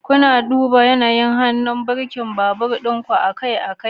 Kuna duba yanayin hannun birkin akan babur ɗin ku akai-akai?